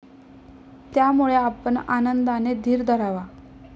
त्यामुळे आपण आनंदाने धीर धरावा.